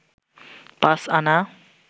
পাঁচ আনা